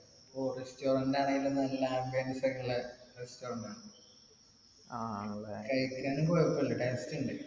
ഓ restaurant ആണേലും നല്ല ambience ഒക്കെ ഉള്ള restaurant ആണ് കഴിക്കാനും കൊഴപ്പല്ല taste ഉണ്ട്